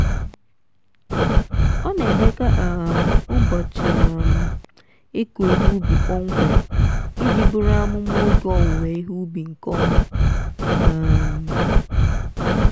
ọ na-edekọ um ụbọchị um ịkụ ihe ubi kpọmkwem iji buru amụma oge owuwe ihe ubi nke ọma. um